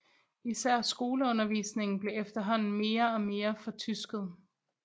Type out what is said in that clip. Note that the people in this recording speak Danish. Især skoleundervisningen blev efterhånden mere og mere fortysket